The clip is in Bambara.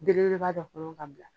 Belebeleba dɔ kɔnɔ ka bila.